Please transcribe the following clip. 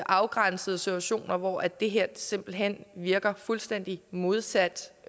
afgrænsede situationer hvor det her simpelt hen virker fuldstændig modsat